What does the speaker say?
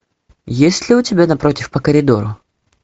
есть ли у тебя напротив по коридору